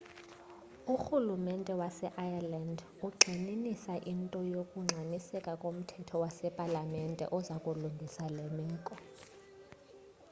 urhulumente waseireland ugxininisa into yokungxamiseka komthetho wasepalamente oza kulungisa le meko